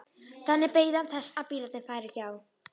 Þannig beið hann þess að bílarnir færu hjá.